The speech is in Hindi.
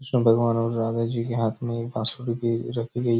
कृष्ण भगवान और राधा जी के हाथ में एक बाँसुरी भी रखी गयी--